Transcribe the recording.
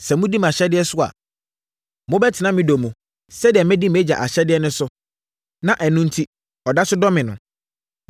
Sɛ modi mʼahyɛdeɛ so a, mobɛtena me dɔ mu sɛdeɛ madi mʼAgya ahyɛdeɛ so na ɛno enti ɔda so dɔ me no.